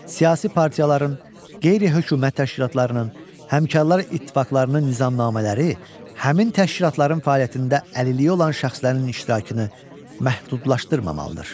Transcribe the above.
Siyasi partiyaların, qeyri-hökumət təşkilatlarının, həmkarlar ittifaqlarının nizamnamələri həmin təşkilatların fəaliyyətində əlilliyi olan şəxslərin iştirakını məhdudlaşdırmamalıdır.